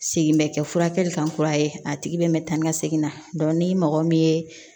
Segin bɛ kɛ furakɛli kan kura ye a tigi bɛ taa ni ka segin na ni mɔgɔ min ye